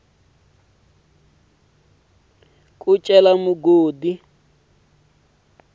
yo cela migodi hi ku